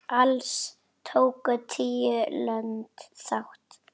Alls tóku tíu lönd þátt.